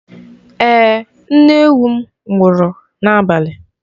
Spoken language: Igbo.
Ee, nne ewu m nwụrụ n'abalị.